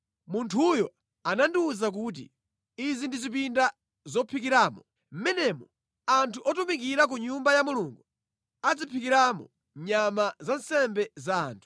Munthuyo anandiwuza kuti, “Izi ndi zipinda zophikiramo. Mʼmenemu anthu otumikira ku Nyumba ya Mulungu adzaphikiramo nyama za nsembe za anthu.”